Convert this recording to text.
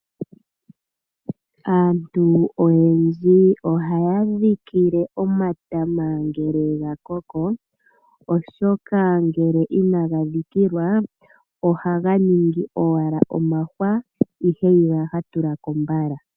Aantu oyendji ohaya dhikile omatama ngele ga koko oshoka ngele inaga dhikilwa ohaga ningi owala omahwa ihe ihaga tula ko mbala.